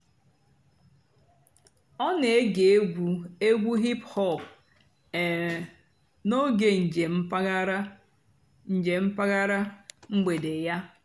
ọ́ nà-ège ègwú ègwú hìp-hòp um n'óge ǹjéém m̀pàghàrà. ǹjéém m̀pàghàrà. m̀gbèdé yá.